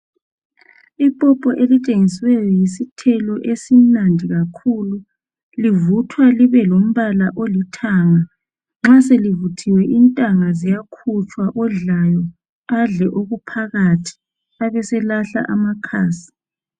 Ipopo elitshengisiweyo yisithelo esimnandi kakhulu. Livuthwa libe lumbala olithanga .Nxa selivuthiwe intanga ziyakhutshwa odlayo adle okuphakathi abe selahla amakhasi.